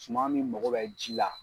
Suma min mago bɛ ji la.